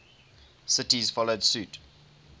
cities follow suit